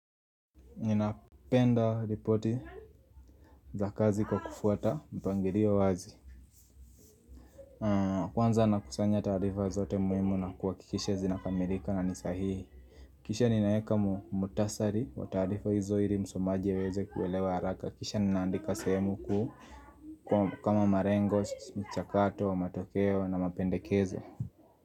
Ninapenda ripoti za kazi kwa kufuata mpangilio wazi Kwanza nakusanya taarifa zote muhimu na kuhakikisha zinakamilika na ni sahihi Kisha ninaeka mukhtasari wa taarifa hizo ili msomaji aweze kuelewa haraka Kisha ninaandika sehemu kuu kama malengo, mchakato, matokeo na mapendekezo.